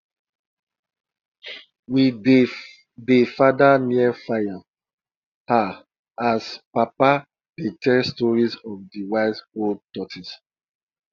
we dey dey father near fire um as papa dey tell stories of de wise old tortoise